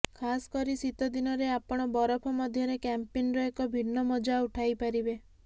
ଖାସ କରି ଶୀତ ଦିନରେ ଆପଣ ବରଫ ମଧ୍ୟରେ କ୍ୟାମ୍ପିଂର ଏକ ଭିନ୍ନ ମଜା ଉଠାଇପାରିବେ